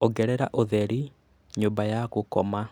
ongerera ũtheri nyũmba ya gũkoma